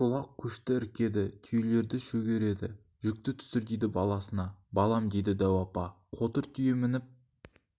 шолақ көшті іркеді түйелерді шөгереді жүкті түсір дейді баласына балам дейді дәу апа қотыр түйе мініп